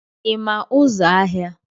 ị ma ụzọ ahịa